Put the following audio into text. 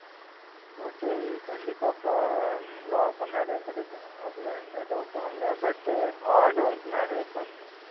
hotel கண்டிப்பா லாபம் நெறைய கிடைக்கும் அதுல எந்த doubt உம் இல்ல but hard work நெறைய பண்ணனும்